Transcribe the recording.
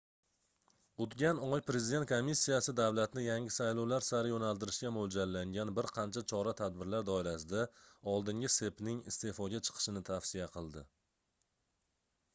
oʻtgan oy prezident komissiyasi davlatni yangi saylovlar sari yoʻnaltirishga moʻljallangan bir qancha chora-tadbirlar doirasida oldingi cepning isteʼfoga chiqishini tavsiya qildi